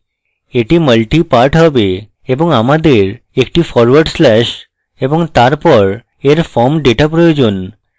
এটি multipart হবে এবং আমাদের একটি ফরওয়ার্ড slash এবং তারপর এর form data প্রয়োজন